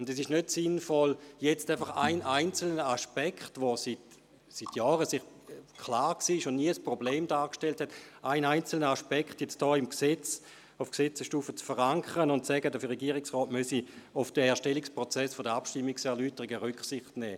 Es ist nicht sinnvoll, jetzt einen einzelnen Aspekt, der Jahre lang klar war und nie ein Problem darstellte, auf Gesetzesstufe zu verankern, indem man sagt, der Regierungsrat müsse auf den Erstellungsprozess der Abstimmungserläuterungen Rücksicht nehmen.